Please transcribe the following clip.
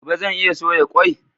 Gobe zan iya soya kwai?